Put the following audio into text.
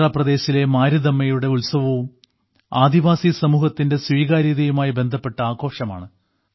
ആന്ധ്രാപ്രദേശിലെ മാരിദമ്മയുടെ ഉത്സവവും ആദിവാസി സമൂഹത്തിന്റെ സ്വീകാര്യതയുമായി ബന്ധപ്പെട്ട ആഘോഷമാണ്